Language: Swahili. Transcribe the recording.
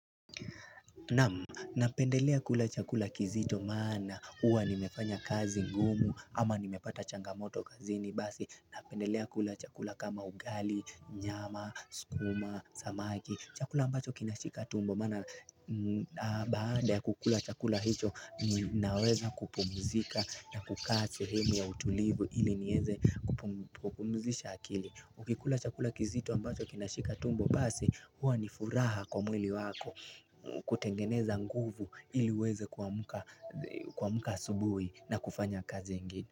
Nam, napendelea kula chakula kizito maana huwa nimefanya kazi ngumu ama nimepata changamoto kazini basi Napendelea kula chakula kama ugali, nyama, skuma, samaki chakula ambacho kinashika tumbo mana baada ya kukula chakula hicho naweza kupumzika na kukaa sehemu ya utulivu ili nieze kupumzisha akili Ukikula chakula kizito ambacho kinashika tumbo basi huwa nifuraha kwa mwili wako kutengeneza nguvu ili uweze kuamka asubuhi na kufanya kazi ingi.